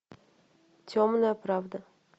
темная правда